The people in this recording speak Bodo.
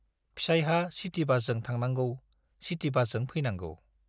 फिसाइहा सिटि बासजों थांनांगौ, सिटि बासजों फैनांगौ।